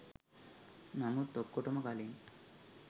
නමුත් ඔක්කොටම කලින්